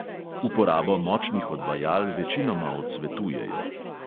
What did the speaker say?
Uporabo močnih odvajal večinoma odsvetujejo.